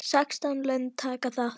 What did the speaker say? Sextán lönd taka þátt.